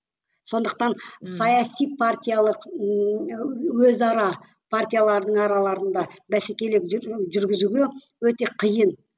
сондықтан саяси партиялық ммм өзара партиялардың араларында бәсекелік жүргізуге өте қиын